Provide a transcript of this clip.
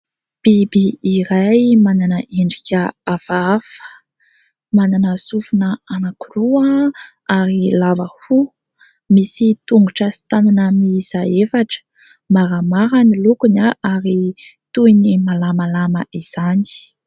Biby iray manana endrika hafahafa, mananasofina anankiroa ary lava hoho, misy tongotra sy tanana miisa efatra. Maramara ny lokony ary toy ny malamalama izany.